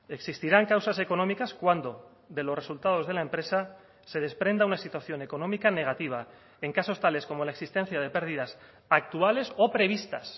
existirán causas económicas cuando de los resultados de la empresa se desprenda una situación económica negativa en casos tales como la existencia de pérdidas actuales o previstas